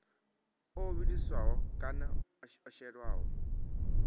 o vhiliswaho kana o shelwaho